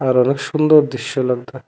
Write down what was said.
আর অনেক সুন্দর দৃশ্য লাগতো।